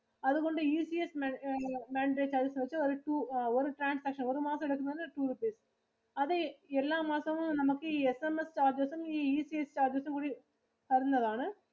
അതുകൊണ്ടു ECS Mandate ഒരു two ഒരു transaction ഒരു മാസം എടുക്കുന്നത് two rupees. അതെ എല്ലാ മാസവും നമുക്ക് ഈ SMS charges ഉം ഈ ECS cahrges ഉം കു‌ടി തരുന്നതാണ്.